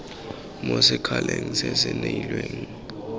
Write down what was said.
mo sekgaleng se se kailweng